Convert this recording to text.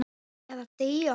Eða deyja.